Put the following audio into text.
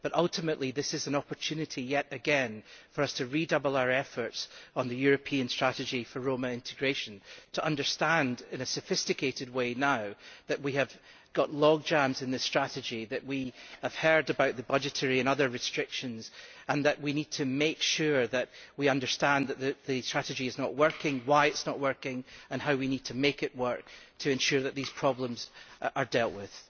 But ultimately this is an opportunity yet again for us to redouble our efforts on the European strategy for Roma integration, to understand, in a sophisticated way now, that we have got logjams in this strategy, that we have heard about the budgetary and other restrictions, and that we need to make sure that we understand that the strategy is not working, why it is not working, and how we need to make it work to ensure that these problems are dealt with.